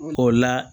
O la